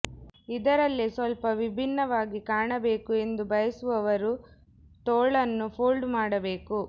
ಇದರಲ್ಲೇ ಸ್ವಲ್ಪ ವಿಭಿನ್ನವಾಗಿ ಕಾಣಬೇಕು ಎಂದು ಬಯಸುವವರು ತೋಳನ್ನು ಫೋಲ್ಡ್ ಮಾಡಬೇಕು